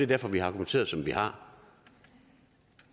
derfor vi har argumenteret som vi har